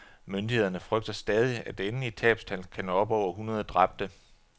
Myndighederne frygter stadig, at det endelige tabstal kan nå op over hundrede dræbte.